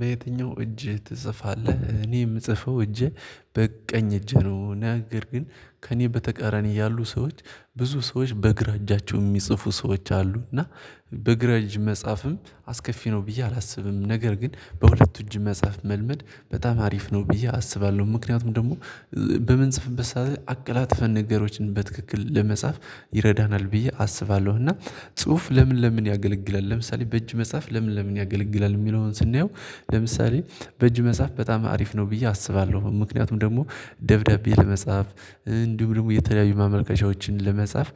በየትኛው እጅ ትጽፋለህ? እኔ የምጽፈው እጄ በቀኝ እጄ ነው። ነገር ግን ከእኔ በተቃራኒ ያሉ ሰዎች ብዙ ሰዎች በግራ እጃቸው የሚጽፉ ሰዎች አሉ። እና በግራ እጅ መጽሐፍም አስከፊ ነው ብዬ አላስብም። ነገር ግን በሁለት እጅ መጽሐፍ መልመድ በጣም አሪፍ ነው ብዬ አስባለሁ። ምክንያቱም ደግሞ በምንጽፍበት ሰዓት አቀላጥፈን ነገሮችን በትክክል ለመጻፍ ይረዳናል ብዬ አስባለሁ። እና ጽሁፍ ለምን ለምን ያገለግላል? ለምሳሌ በእጅ መጽሐፍ ለምን ለምን ያገለግላል? የሚለውን ስናየው ለምሳሌ በእጅ መጽሐፍ በጣም አሪፍ ነው ብዬ አስባለሁ። ምክንያቱም ደግሞ ደብዳቤ ለመጽሐፍ እንዲሁም ደግሞ የተለያዩ ማመልከቻዎችን ለመጻፍ